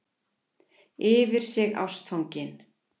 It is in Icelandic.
Yfir sig ástfangin.